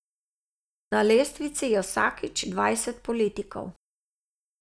Na lestvici je vsakič dvajset politikov.